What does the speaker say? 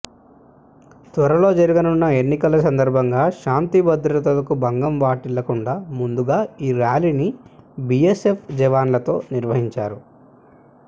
త్వరలో జరగనున్న ఎన్నికల సందర్భంగా శాంతి భద్రతలకు భంగం వాటిల్లకుండా ముందుగా ఈ ర్యాలీని బిఎస్ఎఫ్ జవాన్లతో నిర్వహించారు